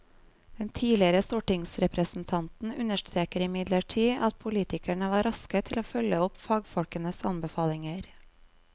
Den tidligere stortingsrepresentanten understreker imidlertid at politikerne var raske til å følge opp fagfolkenes anbefalinger.